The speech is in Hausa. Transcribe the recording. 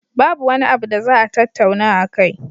Babu wani abu da za a tattauna akai.